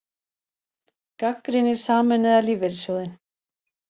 Gagnrýnir Sameinaða lífeyrissjóðinn